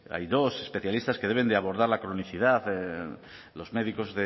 hay dos especialistas que deben de abordar la cronicidad los médicos